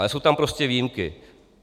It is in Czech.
Ale jsou tam prostě výjimky.